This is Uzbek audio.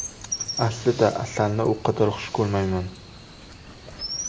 Aslida, asalni u qadar xush ko‘rmayman.